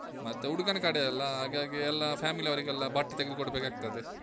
ಮತ್ತೆ ಕಡೆ ಅಲ್ಲಾ, ಹಾಗಾಗಿ ಎಲ್ಲಾ family ಅವ್ರಿಗೆಲ್ಲ ಬಟ್ಟೆ ತೆಗೆದು ಕೊಡ್ಬೇಕಾಗ್ತದೆ.